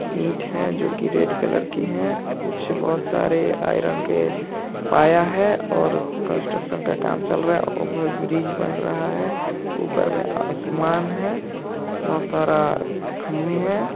ईट है जो की रेड कलर की है नीचे कुछ बहुत सारे आयरन के पाया है और कंस्ट्रक्शन का काम चल रहा है ओवर ब्रिज बन रहा है ऊपर में आसमान है बहुत सारा खंभे हैं।